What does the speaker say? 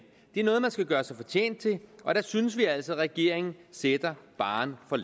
det er noget man skal gøre sig fortjent til og der synes vi altså at regeringen sætter barren for